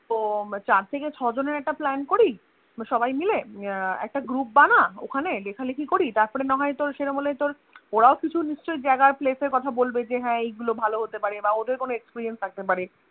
তো চার থেকে ছজনের একটা plan করি সবাই মিলে আহ একটা group বানা ওখানে লেখালেখি করি তারপরে না হয় তোর সেরকম হলে তোর ওরাও কিছু নিশ্চয়ই জাগা place এর কথা বলবে যে হ্যাঁ এগুলো ভালো হতে পারে বাঁ ওদের কোনো Experience থাকতে পারে